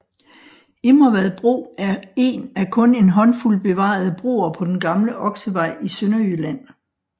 Immervad bro er en af kun en håndfuld bevarede broer på den gamle Oksevej i Sønderjylland